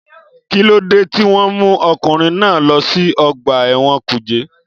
Kíló dé tí wọ́n mú ọkùnrin náà lọ sí ọgbà ẹ̀wọ̀n kùjé?